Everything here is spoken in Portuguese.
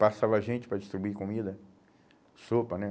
Passava gente para distribuir comida, sopa, né?